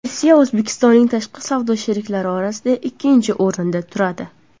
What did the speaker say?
Rossiya O‘zbekistonning tashqi savdo sheriklari orasida ikkinchi o‘rinda turadi.